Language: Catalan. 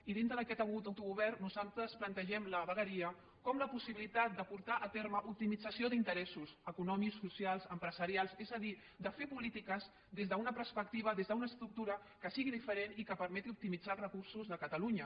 i dintre d’aquest autogovern nosaltres plantegem la vegueria com la possibilitat de portar a terme l’optimització d’interessos econòmics socials empresarials és a dir de fer polítiques des d’una perspectiva des d’una estructura que sigui diferent i que permeti optimitzar els recursos de catalunya